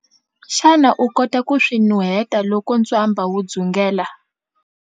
Xana u kota ku swi nuheta loko ntswamba wu dzungela?